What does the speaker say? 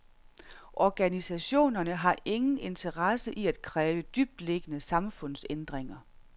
Organisationerne har ingen interesse i at kræve dybtliggende samfundsændringer.